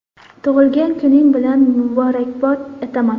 Tug‘ilgan kuning bilan muborakbod etaman!